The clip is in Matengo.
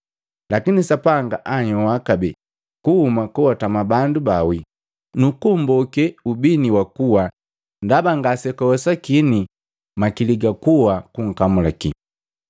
Lakini Sapanga anhyoa kabee kuhuma koatama bandu bawii, nuku mmboke ubini wa kua ndaba ngase kwawesakini makili ga kuwa gunkamulakiya.